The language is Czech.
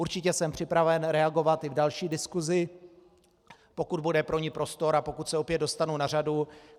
Určitě jsem připraven reagovat i v další diskusi, pokud bude pro ni prostor a pokud se opět dostanu na řadu.